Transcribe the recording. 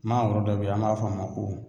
Mangoro dɔ be ye an b'a fɔ a ma ko